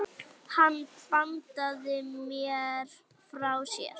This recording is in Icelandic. Hann bandaði mér frá sér.